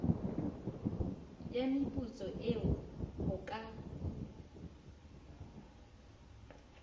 ya meputso eo ho ka